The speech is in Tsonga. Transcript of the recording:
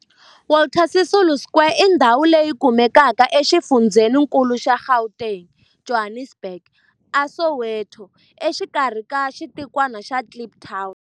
Walter Sisulu Square i ndhawu leyi kumekaka exifundzheni-nkulu xa Gauteng, Johannesburg, a Soweto, exikarhi ka xitikwana xa Kliptown.